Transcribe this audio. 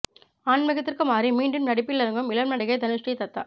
ஆன்மீகத்திற்கு மாறி மீண்டும் நடிப்பில் இறங்கும் இளம் நடிகை தனுஸ்ரீ தத்தா